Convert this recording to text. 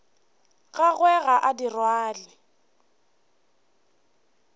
gagwe ga a di rwale